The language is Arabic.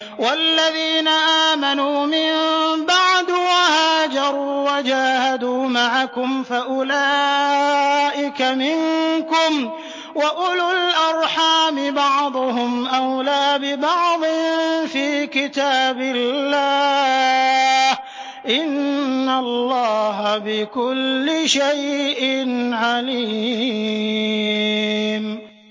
وَالَّذِينَ آمَنُوا مِن بَعْدُ وَهَاجَرُوا وَجَاهَدُوا مَعَكُمْ فَأُولَٰئِكَ مِنكُمْ ۚ وَأُولُو الْأَرْحَامِ بَعْضُهُمْ أَوْلَىٰ بِبَعْضٍ فِي كِتَابِ اللَّهِ ۗ إِنَّ اللَّهَ بِكُلِّ شَيْءٍ عَلِيمٌ